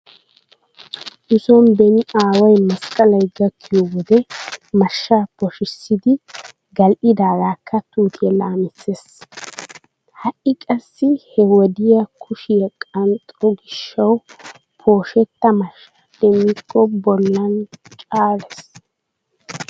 Nu sooni beni aaway masqqalay gakkiyo wode mashshaa poshissidi gal"idaagaakka tuutiya laamissees. Taaaaiqassi he wode kushiya qanxxo gishshawu poshetta mashshaa demmikko bollan caalees.